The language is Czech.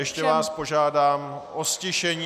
Ještě vás požádám o ztišení.